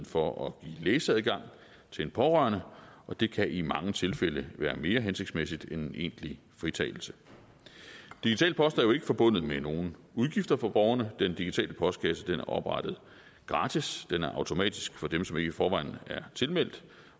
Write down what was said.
for at give læseadgang til en pårørende og det kan i mange tilfælde være mere hensigtsmæssigt end en egentlig fritagelse digital post er jo ikke forbundet med nogen udgifter for borgerne den digitale postkasse er oprettet gratis den er automatisk for dem som ikke i forvejen er tilmeldt